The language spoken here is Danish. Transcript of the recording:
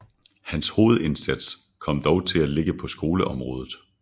Hans hovedindsats kom dog til at ligge på skoleområdet